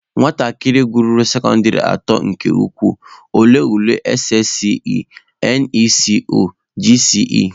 Nwatakịrị gụruo sekọndịrị atọ nke ukwuu, ọ lee ule SSCE/NECO/GCE.